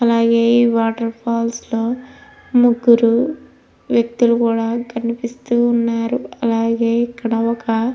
అలాగే ఈ water falls లో ముగ్గురు వేక్తిలు కూడా కనిపిస్తున్నారు. అలాగే ఇక్కడ ఒక --